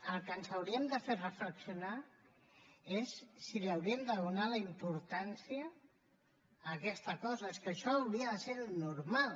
el que ens hauria de fer reflexionar és si hauríem de donar la importància a aquesta cosa perquè és que això hauria de ser el normal